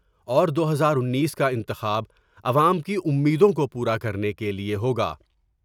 اور دو ہزار انیس کا انتخاب عوام کی امیدوں کو پورا کرنے کے لئے ہوگا ۔